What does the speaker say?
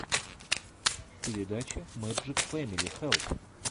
передача мэждик фэмили хэлп